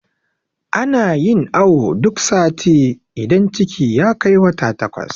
ana. yin awo duk sati idan ciki ya Kai wata takwas